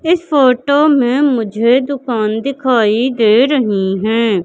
इस फोटो में मुझे दुकान दिखाई दे रही है।